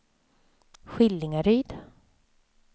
Skillingaryd